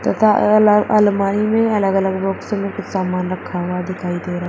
तथा अल अलग अलमारी में अलग अलग बॉक्स में कुछ सामान रखा हुआ दिखाई दे रहा--